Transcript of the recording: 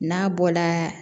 N'a bɔla